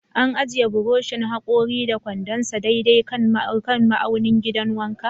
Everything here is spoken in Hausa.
An ajiye buroshin hakori da kwandon sa daidai kan ma'aunin gidan wanka?